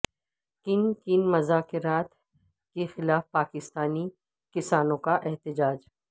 can کن مذاکرات کے خلاف پاکستانی کسانوں کا احتجاج